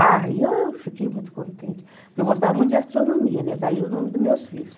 Aí eu fiquei muito contente, porque eu gostava muito de astronomia né, daí o nome dos meus filhos.